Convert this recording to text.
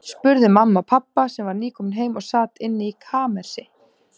spurði mamma pabba, sem var nýkominn heim og sat inni í kamersi.